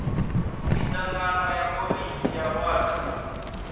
miṱangano ya komiti ya wadi